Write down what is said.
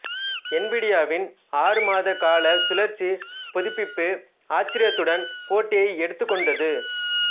என்விடியாவின் ஆறு மாதகால சுழற்சி புதுப்பிப்பு ஆச்சரியத்துடன் போட்டியை எடுத்துக்கொண்டது